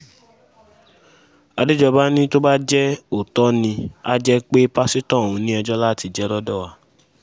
àdèjọba ní tó bá jẹ́ òótọ́ ni á jẹ́ pé pásítọ̀ ọ̀hún ni ẹjọ́ láti jẹ lọ́dọ̀ wa